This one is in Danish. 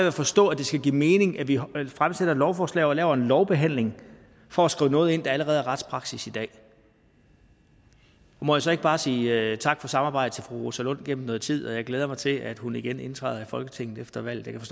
at forstå at det skal give mening at vi fremsætter et lovforslag og laver en lovbehandling for at skrive noget ind der allerede er retspraksis i dag må jeg så ikke bare sige tak for samarbejdet til fru rosa lund igennem noget tid og jeg glæder mig til at hun igen indtræder i folketinget efter valget